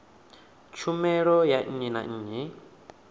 tshumelo ya nnyi na nnyi